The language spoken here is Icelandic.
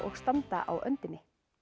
standa á öndinni